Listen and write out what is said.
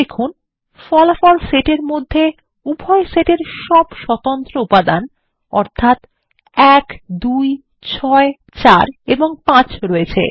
দেখুন ফলাফল সেট এর মধ্যে উভয় সেট এর সব স্বতন্ত্র উপাদান অর্থাত ১২৬৪ এবং ৫ রয়েছে